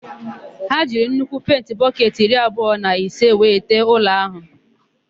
Ha jiri nnukwu penti bọketị iri abụọ na ise wee tee ụlọ áhụ̀.